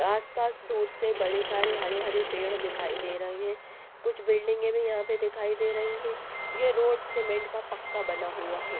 आस-पास दूर से बड़े सारे हरे-हरे पेड़ दिखाई दे रहे हैं कुछ बिल्डिंगें भी यहाँ पे दिखाई दे रही हैं यह रोड सीमेंट का पक्का बना हुआ हैं ।